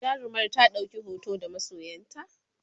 jarumar ta ɗauki hoto da masoyanta?